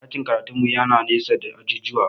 Ɗakin karatun mu yana nesa da ajujuwa